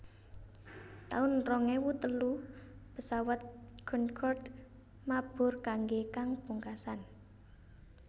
taun rong ewu telu Pesawat Concorde mabur kanggé kang pungkasan